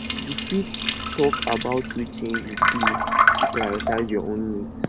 you fit talk about wetin you do to prioritize your own needs